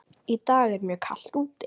Í dag er mjög kalt úti.